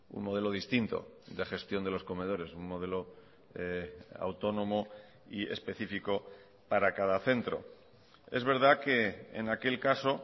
un modelo distinto de gestión de los comedores un modelo autónomo y específico para cada centro es verdad que en aquel caso